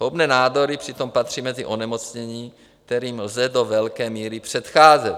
Zhoubné nádory přitom patří mezi onemocnění, kterým lze do velké míry předcházet.